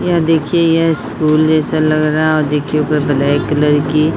यह देखिये यह स्कूल जैसा लग रहा है और देखिये ऊपर ब्लैक कलर की --